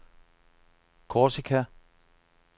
Korsika